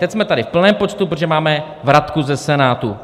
Teď jsme tady v plném počtu, protože máme vratku ze Senátu.